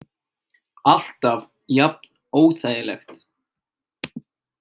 Alltaf jafn óþægilegt.